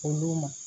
Olu ma